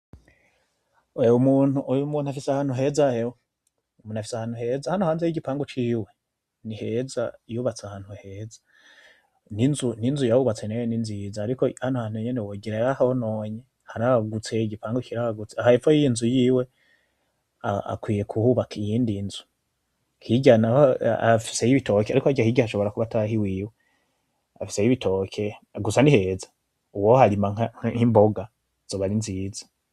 Oya uyu muntu, uyu muntu afise ahantu heza hewe, uyu muntu afise ahantu heza. Urabona nigipangu ciwe ni heza yubatse ahantu heza, ninzu yubatse nayonyene ninziza ariko hano hantu nyene wogira yarahononye, igipangu kiragutse. Aha hepfo yinzu yiwe akwiye kuhubaka iyindi nzu, hirya naho afiseyo ibitoki, ariko hirya ashobora kuba atari ahiwiwe, afiseyo ibitoki, gusa niheza uwoharima nki mboga zoba ari nziza.